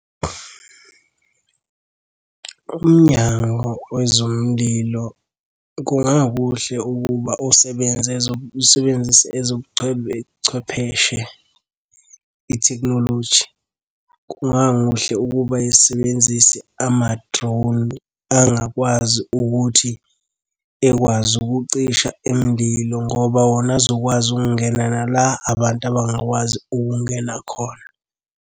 Umnyango wezomlilo kungakuhle ukuba usebenze usebenzise chwepheshe, ithekhnoloji. Kungakuhle ukuba isebenzise ama-drone angakwazi ukuthi ekwazi ukucisha imililo ngoba wona azokwazi ukungena la abantu abangakwazi ukungena khona.